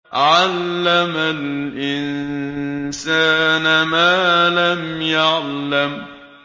عَلَّمَ الْإِنسَانَ مَا لَمْ يَعْلَمْ